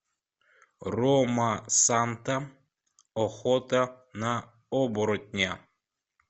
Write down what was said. ромасанта охота на оборотня